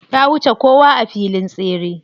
Ta wuce kowa a filin tseren.